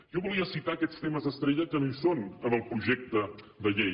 jo volia citar aquests temes estrella que no hi són en el projecte de llei